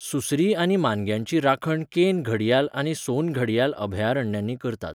सुसरी आनी मानग्यांची राखण केन घडियाल आनी सोन घडियाल अभयारण्यांनी करतात.